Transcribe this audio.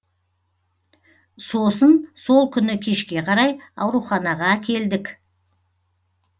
сосын сол күні кешке қарай ауруханаға әкелдік